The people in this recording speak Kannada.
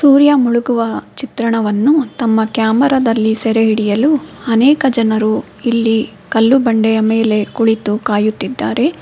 ಸೂರ್ಯ ಮುಳುಗುವ ಚಿತ್ರಣವನ್ನು ತಮ್ಮ ಕ್ಯಾಮರಾ ದಲ್ಲಿ ಸೆರೆಹಿಡಿಯಲು ಅನೇಕ ಜನರು ಇಲ್ಲಿ ಕಲ್ಲು ಬಂಡೆಯ ಮೇಲೆ ಕುಳಿತು ಕಾಯುತ್ತಿದ್ದಾರೆ.